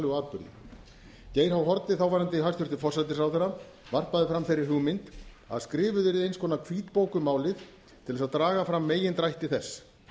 geir h haarde þáverandi hæstvirtur forsætisráðherra varpaði fram þeirri hugmynd að skrifuð yrði eins konar hvítbók um málið til að draga fram megindrætti þess